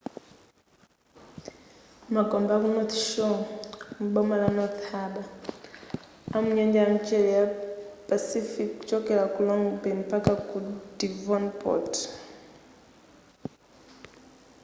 magombe aku north shore m'boma la north harbour amu nyanja ya mchere ya pacific kuchokela ku long bay mpaka ku devonport